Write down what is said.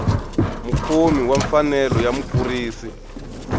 mukhomi wa mfanelo ya mukurisi